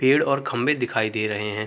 पेड़ और ख़म्भे दिखाई दे रहे हैं।